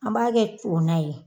An b'a kɛ to na ye